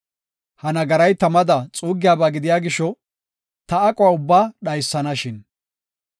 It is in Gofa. Ha nagaray tamada xuuggiyaba gidiya gisho, ta aquwa ubbaa dhaysanashin.